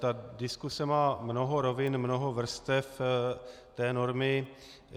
Ta diskuse má mnoho rovin, mnoho vrstev té normy.